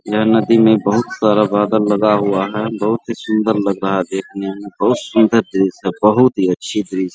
ये नदी में बहुत सारा बादल लगा हुआ है बहुत सुन्दर लग रहा है देखने मे बहुत सुन्दर दृश्य है बहुत ही अच्छी दृश्य है।